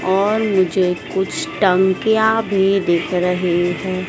और मुझे कुछ टंकियां भी दिख रही है।